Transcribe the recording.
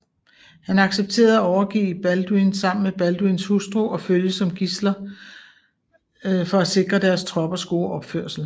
Han accepterede at overgive Balduin sammen med Balduins hustru og følge som gidsler for at sikre deres troppers gode opførsel